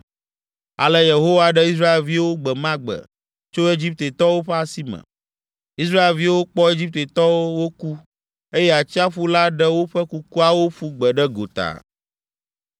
Ale Yehowa ɖe Israelviwo gbe ma gbe tso Egiptetɔwo ƒe asi me. Israelviwo kpɔ Egiptetɔwo woku, eye atsiaƒu la ɖe woƒe kukuawo ƒu gbe ɖe gota.